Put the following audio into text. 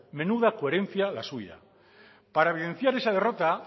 menuda coherencia la suya para evidenciar esa derrota